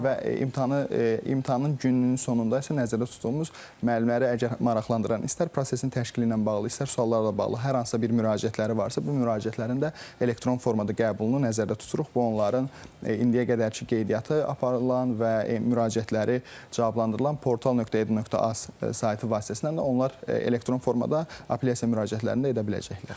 Və imtahanı imtahanın gününün sonunda isə nəzərdə tutduğumuz müəllimləri əgər maraqlandıran istər prosesin təşkili ilə bağlı, istər suallarla bağlı hər hansısa bir müraciətləri varsa, bu müraciətlərin də elektron formada qəbulunu nəzərdə tuturuq, bu onların indiyə qədərki qeydiyyatı aparılan və müraciətləri cavablandırılan portal.edu.az saytı vasitəsilə də onlar elektron formada apellyasiya müraciətlərini də edə biləcəklər.